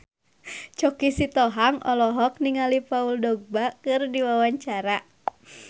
Choky Sitohang olohok ningali Paul Dogba keur diwawancara